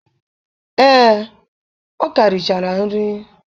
Ee, o ka richara nri.